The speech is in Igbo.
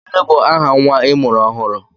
Gịnị bụ aha nnwa I mụrụ ọhụrụ?